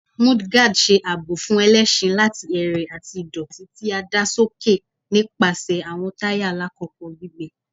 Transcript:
Mudguards ṣe aabo fun ẹlẹṣin lati ẹrẹ ati idoti ti a da soke nipasẹ awọn taya lakoko gbigbe